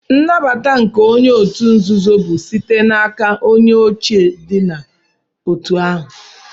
Nnabata nke onye otu nzuzo bu site na aka onye oche di na otu ha.